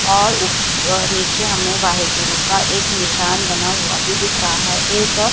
और ऊ नीचे हमें वाहेगुरु का एक निशान बना हुआ भी दिख रहा है एक--